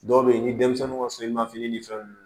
Dɔw bɛ yen ni denmisɛnninw ka soli ma fini ni fɛnw